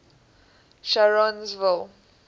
sharonsville